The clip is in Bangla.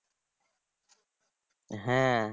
হ্যাঁ